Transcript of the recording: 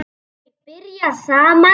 Þau byrja saman.